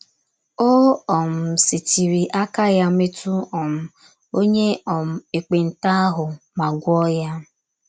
O um setịrị aka ya metụ um onye um ekpenta ahụ ma gwọọ ya.